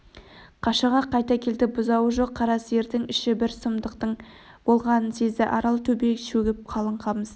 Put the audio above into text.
қашаға қайта келді бұзауы жоқ қара сиырдың іші бір сұмдықтың болғанын сезді арал-төбе шөгіп қалың қамыс